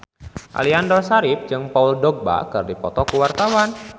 Aliando Syarif jeung Paul Dogba keur dipoto ku wartawan